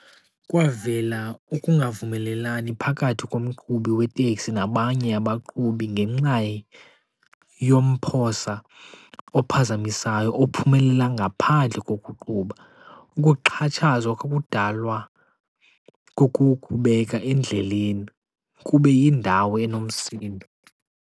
Kwavela ukungavumelelani phakathi komqhubi weteksi nabanye abaqhubi ngenxa yomphosa ophazamisayo ophumelela ngaphandle kokuqhuba. Ukuxhatshazwa kwakudalwa kukukubeka endleleni kube yindawo enomsindo.